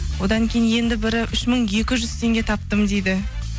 одан кейін енді бірі үш мың екі жүз теңге таптым дейді